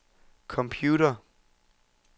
computer